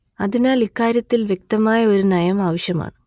അതിനാൽ ഇക്കാര്യത്തിൽ വ്യക്തമായ ഒരു നയം ആവശ്യമാണ്